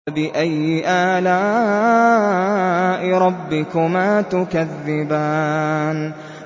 فَبِأَيِّ آلَاءِ رَبِّكُمَا تُكَذِّبَانِ